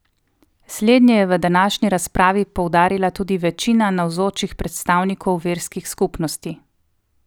Slednje je v današnji razpravi poudarila tudi večina navzočih predstavnikov verskih skupnosti.